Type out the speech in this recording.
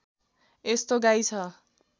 यस्तो गाई छ